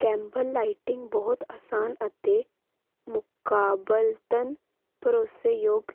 ਕੈਂਬਲਲਾਈਟਿੰਗ ਬਹੁਤ ਆਸਾਨ ਅਤੇ ਮੁਕਾਬਲਤਨ ਭਰੋਸੇਯੋਗ